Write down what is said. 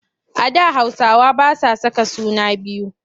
A da Hausawa ba sa saka suna biyu.